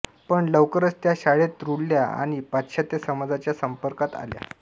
पण लवकरच त्या शाळेत रुळल्या आणि पाश्चात्य समाजाच्या संपर्कात आल्या